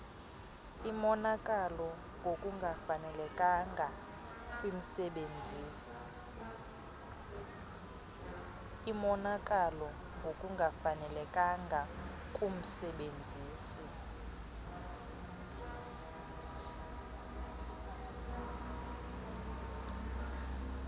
imonakalo ngokungafanelekanga kumsebenzisi